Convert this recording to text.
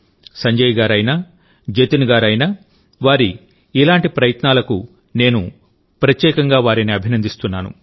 సంజయ్ గారు అయినా జతిన్ గారు అయినావారి ఇలాంటి అనేక ప్రయత్నాలకు నేను వారిని ప్రత్యేకంగా అభినందిస్తున్నాను